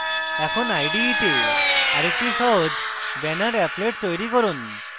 এখন ide তে আরেকটি সহজ banner applet তৈরী করুন